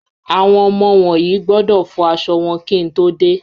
Àwọn ọmọ wọ̀n yí gbọ́dọ̀ fọ aṣọ wọn kí n tó dé.